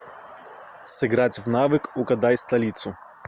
сыграть в навык угадай столицу